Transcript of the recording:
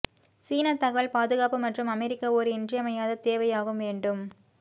சீனா தகவல் பாதுகாப்பு மற்றும் அமெரிக்க ஓர் இன்றியமையாத தேவையாகும் வேண்டும்